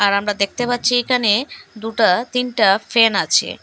আর আমরা দেখতে পাচ্ছি এখানে দুটা তিনটা ফ্যান আছে।